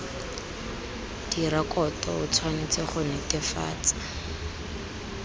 direkoto o tshwanetse go netefatsa